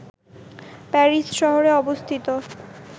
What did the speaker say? Paris শহরে অবস্থিত